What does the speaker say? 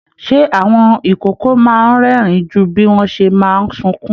Ṣe àwọn ikòkò máa n rẹ́rìn jù bí wọn ṣe máa sunkún?